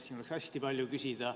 Siin oleks hästi palju küsida.